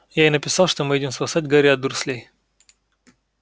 я ей написал что мы едем спасать гарри от дурслей